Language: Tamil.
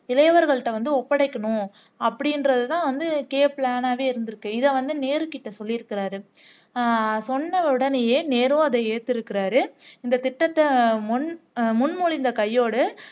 இளையவர்கள்கிட்ட வந்து ஒப்படைக்கணும் அப்படின்றதுதுதான் வந்து k plan ஆவே இருந்துருக்குது இதை வந்து நேரு கிட்ட சொல்லிருக்கிறார்